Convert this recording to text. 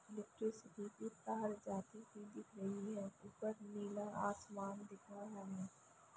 Electricity की तार जाती हुई दिख रही है ऊपर नीला आसमान दिख रहा है।